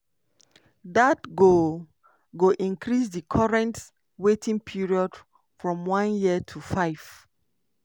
dat go go increase di current waiting period from one year to five.